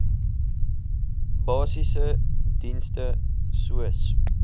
basiese dienste soos